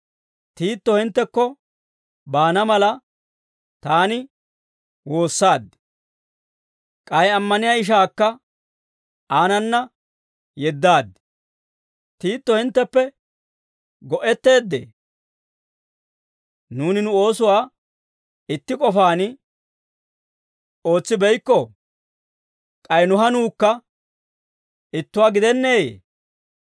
Tiito hinttekko baana mala, taani woossaad; k'ay ammaniyaa ishaakka aanana yeddaad. Tiito hintteppe go"etteeddee? Nuuni nu oosuwaa itti k'ofaan ootsibeykkoo? K'ay nu hanuukka ittuwaa gidenneeyee?